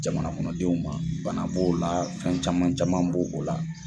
Jamana kɔnɔdenw ma bana b'o la fɛn caman caman b'o la